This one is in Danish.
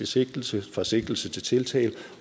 sigtelse fra sigtelse til tiltale